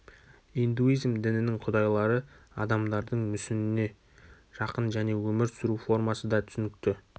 индуизм дінінің құдайлары адамдардың мүсініне жақын және өмір сүру формасы да түсінікті